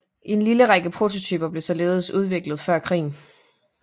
En lille række prototyper blev således udviklet før krigen